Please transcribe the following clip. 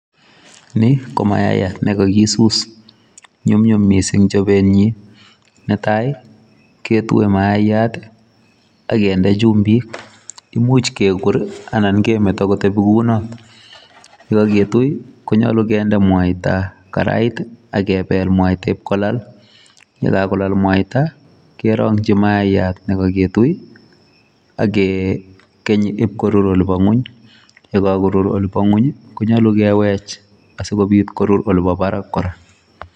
Ni komayaiyat ne kakisuus nyumnyum mising chobenyin. Netai ketue maiyat ak kinde chumbik. Imuch kekwer anan kemeto kotebi kounoto. Ye kogetui konyolu kinde mwaita karait ak kebel mwaita ib kolal, ye kagolal mwaita kerongi maiyat nekoketui ak kegany ibkorur yebo ng'weny ye kogurur olibo ng'weny konyolu kewech asikorur olibo bara kora.